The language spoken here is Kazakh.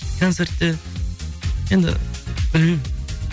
концертте енді білмеймін